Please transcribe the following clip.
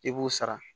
I b'u sara